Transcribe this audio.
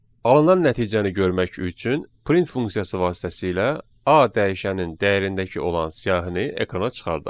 Alınan nəticəni görmək üçün print funksiyası vasitəsilə A dəyişənin dəyərindəki olan siyahını ekrana çıxardaq.